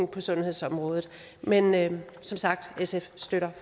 på sundhedsområdet men men som sagt støtter